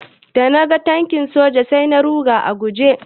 Da naga tankin soja sai da na ruga a guje.